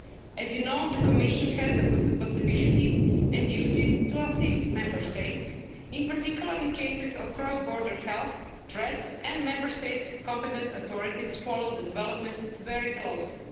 As you know, the Commission has the possibility and duty to assist Member States, in particular, in cases of cross-border health threats and Member States' competent authorities follow the developments very closely.